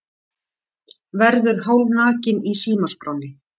Verður hálfnakinn í símaskránni